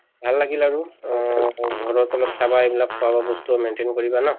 ভাল লাগিল আৰু অহ ঘৰত অলপ চাবা এইবিলাক খোৱা বোৱা বস্তু maintain কৰিবা ন?